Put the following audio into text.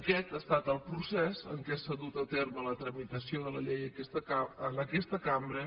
aquest ha estat el procés amb què s’ha dut a terme la tramitació de la llei en aquesta cambra